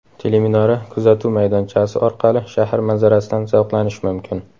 Teleminora kuzatuv maydonchasi orqali shahar manzarasidan zavqlanish mumkin.